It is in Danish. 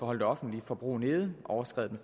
holde det offentlige forbrug nede har overskredet